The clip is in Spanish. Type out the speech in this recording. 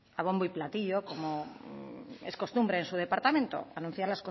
a bombo y platillo como es costumbre en su departamento anunciar